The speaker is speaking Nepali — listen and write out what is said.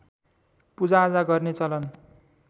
पूजाआजा गर्ने चलन